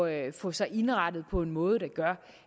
at få sig indrettet på en måde der gør